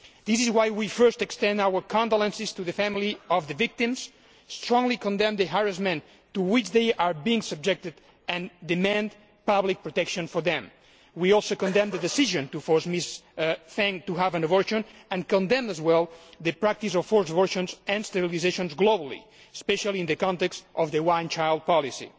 This is why we first extend our condolences to the family of the victims, strongly condemn the harassment to which they are being subjected and demand public protection for them. We also condemn the decision to force Mrs Feng to have an abortion and condemn as well the practice of forced abortions and sterilisations globally, especially in the context of the one child policy.